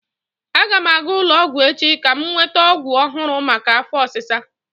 Aga m aga ụlọ ọgwụ echi ka m nweta ọgwụ ọhụrụ maka afọ ọsisa.